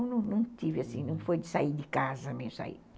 Então não tive assim, não foi de sair de casa mesmo.